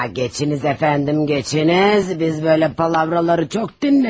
Aa, keçiniz əfəndim, keçiniz, biz belə boş-boş danışıqları çox eşitmişik.